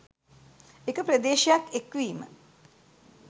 එක ප්‍රදේශයක් එක්වීම